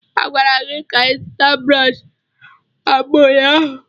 A gwara gị ka ị zụta brọsh agba ụnyaahụ.